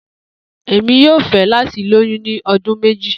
Emi yoo fẹ lati loyun ni ọdun meji.